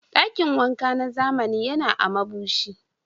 Dakin wanka na zamani yana a Mabushi.